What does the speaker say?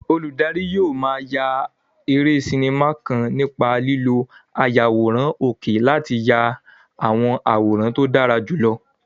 Olùdarí yóò máa ya eré sinimá kan nípa lílo ayàwòrán òkè láti ya àwọn àwòrán tó dára jùlọ.